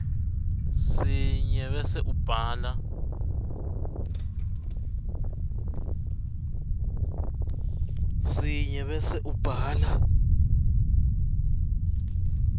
sinye bese ubhala